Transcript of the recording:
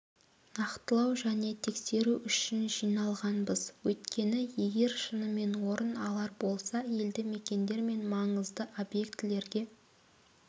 нақтылау және тексеру үшін жиналғанбыз өйткені егер шынымен орын алар болса елді-мекендер мен маңызды объектілерге